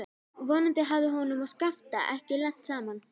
Vonandi hafði honum og Skafta ekki lent saman.